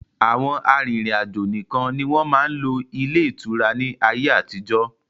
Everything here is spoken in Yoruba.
Àwọn arìnrìn-àjò nìkan ni wọn máa ń lò ilé ìtura ni ayé àtijọ́